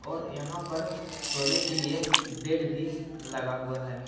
और यहां पर सोने के लिए बेड भी लगा हुआ है।